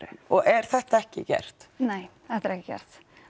og er þetta ekki gert nei þetta er ekki gert